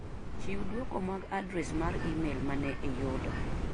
Chiw duoko mag adres mar imel mane ayudo.